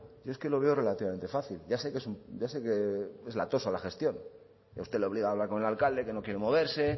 yo es que lo veo relativamente fácil ya sé que es un ya sé que es latosa la gestión que a usted le obliga a hablar con el alcalde que no quiere moverse